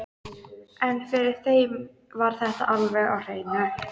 En fyrir þeim var þetta alveg á hreinu.